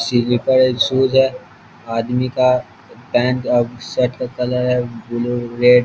सिलिपर एक सूज है आदमी का पेंट अ शट का कलर है ब्लू रेड ।